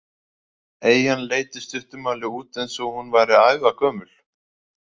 Eyjan leit í stuttu máli út eins og hún væri ævagömul.